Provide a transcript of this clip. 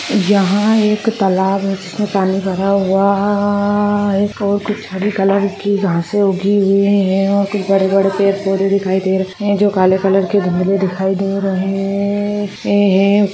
यहां एक तालाब है जिस में पानी भरा हुआ है कुछ हरे कलर की घासे उगी हुई है कुछ बड़े बड़े पेड़ पौधे दिखाई दे रखे है जो काले कलर के धुन्दले दिखाई दे रहे है।